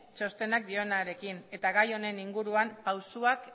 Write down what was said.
txostenak dionarekin eta gai honen inguruan pausoak